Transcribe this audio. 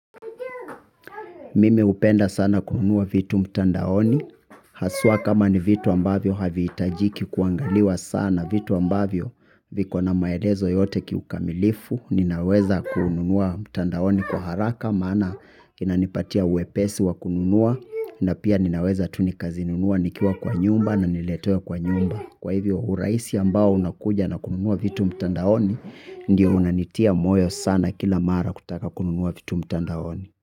Mimi hupenda sana kununua vitu mtandaoni, haswa kama ni vitu ambavyo havihitajiki kuangaliwa sana vitu ambavyo viko na maelezo yote kiukamilifu, ninaweza kununua mtandaoni kwa haraka, maana inanipatia wepesi wa kununua, na pia ninaweza tu nikazinunua nikiwa kwa nyumba na niletewe kwa nyumba. Kwa hivyo urahisi ambao unakuja na kununua vitu mtandaoni, ndio unanitia moyo sana kila mara kutaka kununua vitu mtandaoni.